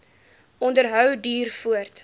onderhou duur voort